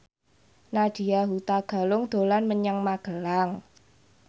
Nadya Hutagalung dolan menyang Magelang